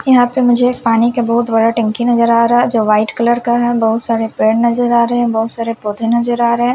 यहाँ पे मुझे एक पानी का बोहोत बड़ा टंकी नज़र आरा है जो वाइट कलर का है बहुत सारे पेड़ नज़र आरे है बहुत सारे पोधे नज़र आरे है।